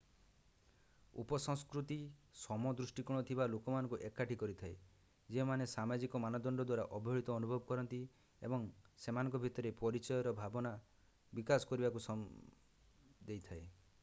ଉପ-ସଂସ୍କୃତି ସମ ଦୃଷ୍ଟିକୋଣ ଥିବା ଲୋକମାନଙ୍କୁ ଏକାଠି କରିଥାଏ ଯେଉଁମାନେ ସାମାଜିକ ମାନଦଣ୍ଡ ଦ୍ୱାରା ଅବହେଳିତ ଅନୁଭବ କରନ୍ତି ଏବଂ ସେମାନଙ୍କ ଭିତରେ ପରିଚୟର ଭାବନା ବିକାଶ କରିବାକୁ ଦେଇଥାଏ